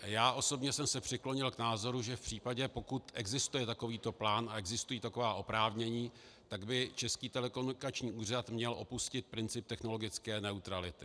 Já osobně jsem se přiklonil k názoru, že v případě, pokud existuje takovýto plán a existují taková oprávnění, tak by Český telekomunikační úřad měl opustit princip technologické neutrality.